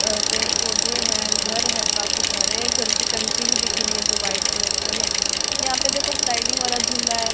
अ पेड़ पौधे हैं घर है काफी सारे घर की टंकी भी दिख रही है जो व्हाइट कलर की है यहां पे देखो स्लाइडिंग वाला झूला है।